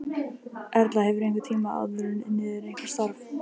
Erla: Hefurðu einhvern tímann áður unnið eitthvað starf?